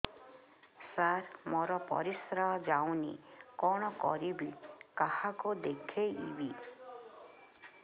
ସାର ମୋର ପରିସ୍ରା ଯାଉନି କଣ କରିବି କାହାକୁ ଦେଖେଇବି